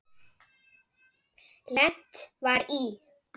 Lent var í